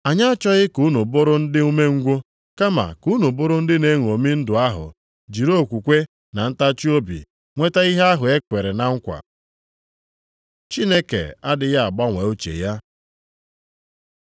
Anyị achọghị ka unu bụrụ ndị umengwụ, kama ka unu bụrụ ndị na-eṅomi ndụ ahụ jiri okwukwe na ntachiobi nweta ihe ahụ e kwere na nkwa. Chineke adịghị agbanwe uche ya